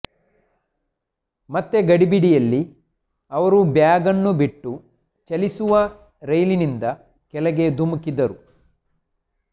ಮತ್ತೆ ಗಡಿಬಿಡಿಯಲ್ಲಿ ಅವರು ಬ್ಯಾಗ್ನ್ನು ಬಿಟ್ಟು ಚಲಿಸುವ ರೈಲಿನಿಂದ ಕೆಳಗೆ ಧುಮುಕಿದ್ದರು